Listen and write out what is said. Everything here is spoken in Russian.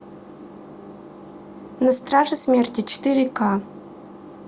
на страже смерти четыре ка